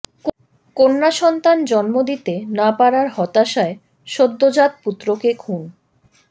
কন্যাসন্তান জন্ম দিতে না পারার হতাশায় সদ্যোজাত পুত্রকে খুন